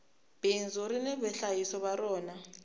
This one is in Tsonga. bindzu rini vahlayisi va rona